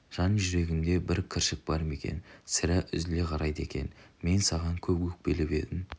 жан-жүрегінде бір кіршік бар ма екен сірә үзіле қарайды екен мен саған көп өкпелеп едім